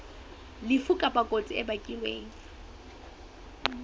lefu kapa kotsi e bakilweng